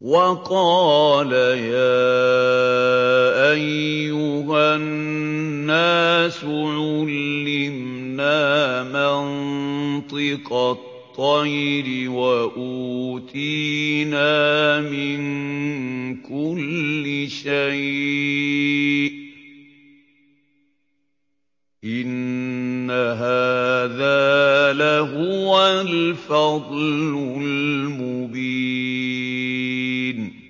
وَقَالَ يَا أَيُّهَا النَّاسُ عُلِّمْنَا مَنطِقَ الطَّيْرِ وَأُوتِينَا مِن كُلِّ شَيْءٍ ۖ إِنَّ هَٰذَا لَهُوَ الْفَضْلُ الْمُبِينُ